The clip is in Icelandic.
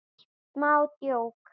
Smá djók.